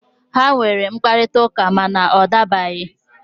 Ha nwere mkparịta ụka, ma na ọ dabaghị.